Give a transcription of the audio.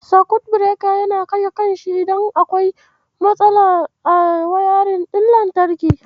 Sakut Bireka yana kashe kansa idan akwai matsala a wayarin ɗin lantarki.